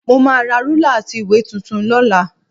Mo máa ra rúlà àti ìwé tuntun lọ́la